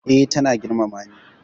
Eh, ta na girmama ni